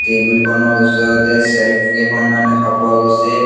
টেবুলখনৰ ওচৰতে শ্বেল্ফ কেইখনমান দেখা পোৱা গৈছে।